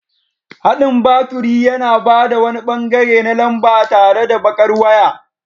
Haɗin baturi yana ba da wani ɓangare na lamba tare da baƙar waya.